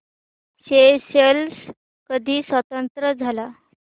Seychelles कधी स्वतंत्र झाला